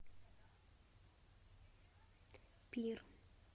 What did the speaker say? пир